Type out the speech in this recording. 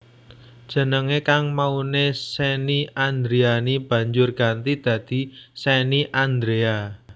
Jenengé kang mauné Shenny Andriani banjur ganti dadi Shenny Andrea